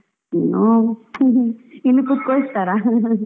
ಇನ್ನು ಇಲ್ಲಿ ಕೂತ್ಕೋಳಿಸ್ತಾರಾ .